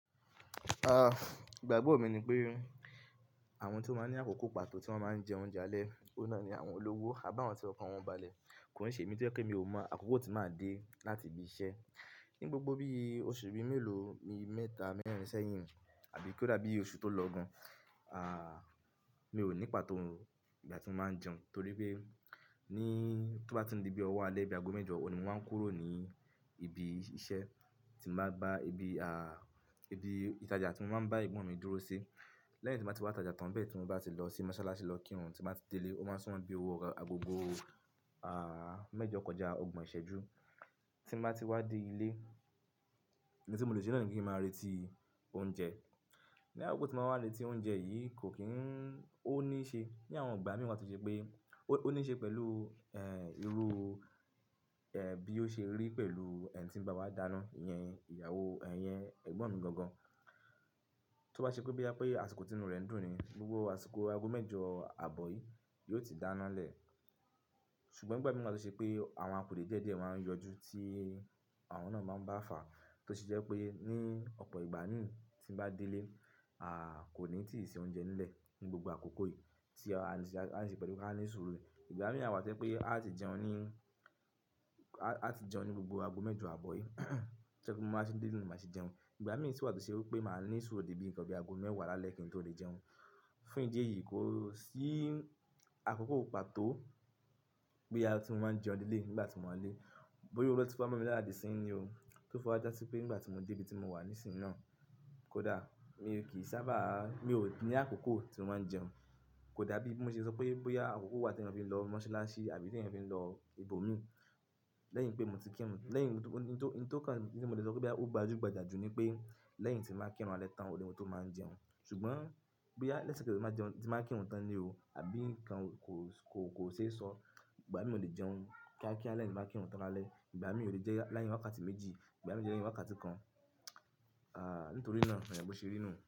Ah, ìgbàgbọ́ mi ni pé àwọn tí ó máa ń ní àkókò pàtó tí wọ́n máa ń jẹ oúnjẹ alẹ́, òun náà ni àwọn olówó àbá àwọn tí ọkọ wọn balẹ̀. Kò í ṣe èmí tí ó je pe mi ò mọ̀ àkókò ti máa dé láti ibi iṣẹ́. Ní gbogbo bí oṣù bí mẹ́lòó, mi mẹ́ta mẹ́rin sẹ́yìn àbí kí ó dàbí i oṣù tó lọ gan. Ah, mi ò ní pàtó ìgbà tí mo máa ń jẹun torí pé ní tó bá ti di bí ọwọ́ alẹ́ ibi ago mẹ́jọ, òní mo máa ń kúrò ní ibi iṣẹ́ tí mo bá gba ibi, ah, ibi ìtajà tí mo máa ń bá ẹ̀gbọ́n mi dúró sí. Lẹ́yìn tí màá ti wá ìtajà tán bẹ́ẹ̀ tí mo bá ti lọ sí mọ́sálásí lọ kírun tí màá ti délé, ó máa súnmọ́ bí owó agbogbo, ah, mẹ́jọ kọjá ọgbọ̀n ìṣẹ́jú tí màá ti wá dé ilé ní tí mo lè ṣe lẹ́yìn kí n máa retí oúnjẹ. Ni àkókò tí mo máa wá létí oúnjẹ yìí kò kín ó ní ṣe ní àwọn ìgbà mìíràn tí ó ṣe pé ó ní ṣe pẹ̀lú, ẹ́, irú, ẹ́, bí ó ṣe rí pẹ̀lú ẹni tí ń bá wa dáná, ìyẹn ìyàwó, ẹ́, ìyẹn ẹ̀gbọ́n mi gangan. Tó bá ṣe pé bí bóyá àsìkò tí inú rẹ̀ ń dùn ni gbogbo àsìkọ̀ ago mẹ́jọ àbọ̀ yìí yóò ti dáná lẹ̀. Ṣùgbọ́n ìgbà mìíràn tí ó ṣe pé àwọn akòdè díẹ̀díẹ̀ máa ń yọjú tí àwọn náà máa ń bá fàá tó ṣe jẹ́ pé ní ọ̀pọ̀ ìgbà mií tí ń bá délé, ah, kò ní tìí se oúnjẹ nílẹ̀ ní gbogbo àkókò yìí tí a ní ṣe pẹ̀lú kí a ní súúrù ní. Ìgbà mìí wà tó jẹ pé a ti jẹun ní, a ti jẹun ní gbogbo ago mẹ́jọ àbọ̀ yìí. To jé pe bí mo máa tí dé ilé máa tí jẹun. Ìgbà mìí sì wà tí ṣe pé màá ní súúrù di bíi nǹkan bí ago mẹ́wàá lálẹ́ kí n tó lé jẹun. Fún ìdí èyí kó sí àkókò pàtó pé á tun máa ń jẹun nílé nígbà tí mo wá nilé. Bóyá óun lo ti wá mọ mí lára di isín yín ní o tó fiwa já sí pé nígbà tí mo dé ibi tí mo wà nísìnyí náà kò dà. Mi ò kì í sábà, mi ò ní àkókò tí mo máa ń jẹun. Kò dàbí i bó ṣe sọ pé bóyá àkókò wà tí ẹyan fi ń lọ mọ́sálásí àbí tí ẹyan fi ń lọ ibòmíì. Lẹ́yìn pé mo ti kírun, lẹ́yìn tí ó kan tí mo lè sọ pé bí ó gba jú gba jà jù ni pé lẹ́yìn tí n bá kí irun ale tán òun ni mo tó máa ń jẹun. Ṣùgbọ́n bóyá lẹ́sẹ̀kẹsẹ̀ tí mo bá ti jeun tí mo ba kírun tán ni o àbí nǹkan kò, kò, kò ṣe sọ. Ìgbà mí ò lè jẹun kíákíá lẹ́yìn tí mo bá kírun tán lálẹ́. Ìgbà míì ò lè jẹ l'arin wàkàtí méjì, ìgbà míì ò lè jẹ wàkàtí kan. Ah, nítorí náà ehn bo ṣe rí nú.